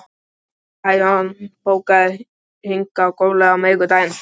Bæron, bókaðu hring í golf á miðvikudaginn.